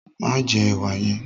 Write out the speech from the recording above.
Ma jẹ ẹwà yẹn!